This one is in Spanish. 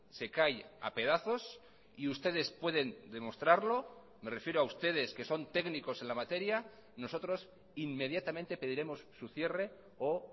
se cae a pedazos y ustedes pueden demostrarlo me refiero a ustedes que son técnicos en la materia nosotros inmediatamente pediremos su cierre o